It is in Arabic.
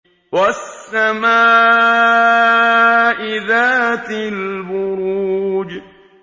وَالسَّمَاءِ ذَاتِ الْبُرُوجِ